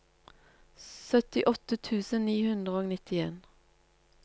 syttiåtte tusen ni hundre og nittien